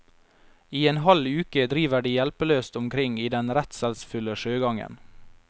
I en halv uke driver de hjelpeløst omkring i den redselsfulle sjøgangen.